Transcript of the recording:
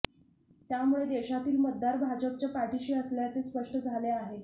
त्यामुळे देशातील मतदार भाजपच्या पाठीशी असल्याचे स्पष्ट झाले आहे